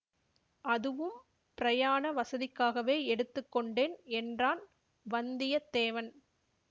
அதுவும் பிரயாண வசதிக்காகவே எடுத்து கொண்டேன் என்றான் வந்தியத்தேவன்